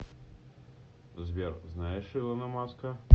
сбер знаешь илона маска